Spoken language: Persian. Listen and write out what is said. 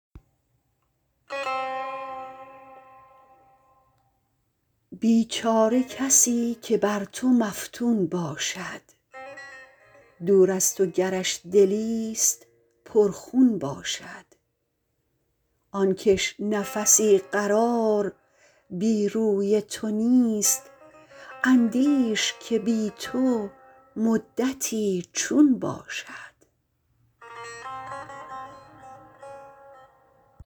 بیچاره کسی که بر تو مفتون باشد دور از تو گرش دلیست پر خون باشد آن کش نفسی قرار بی روی تو نیست اندیش که بی تو مدتی چون باشد